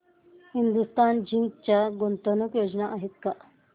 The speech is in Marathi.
हिंदुस्तान झिंक च्या गुंतवणूक योजना आहेत का